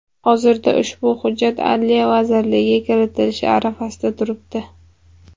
Hozirda ushbu hujjat Adliya vazirligiga kiritilish arafasida turibdi.